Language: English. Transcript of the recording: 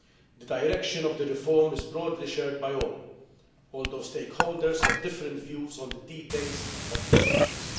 The direction of the reform is broadly shared by all, although stakeholders have different views on the details of the changes.